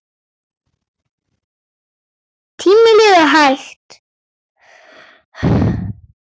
Tíminn líður hægt.